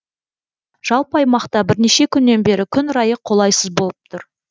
жалпы аймақта бірнеше күннен бері күн райы қолайсыз болып тұр